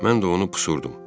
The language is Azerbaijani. Mən də onu pusurdum.